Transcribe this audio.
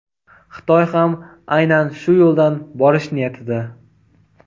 Xitoy ham aynan shu yo‘ldan borish niyatida.